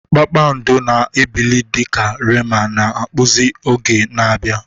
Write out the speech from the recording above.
Kpakpando na-ebili dị ka Rema na-akpụzi oge na-abịa.